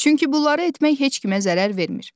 Çünki bunları etmək heç kimə zərər vermir.